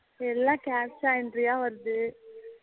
எல்லாம் Captcha entry யா வருது